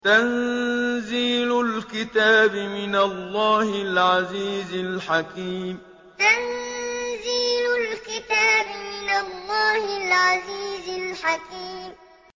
تَنزِيلُ الْكِتَابِ مِنَ اللَّهِ الْعَزِيزِ الْحَكِيمِ تَنزِيلُ الْكِتَابِ مِنَ اللَّهِ الْعَزِيزِ الْحَكِيمِ